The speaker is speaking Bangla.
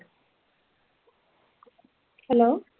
hello